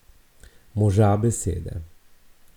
Moža besede.